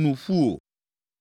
nu ƒu o.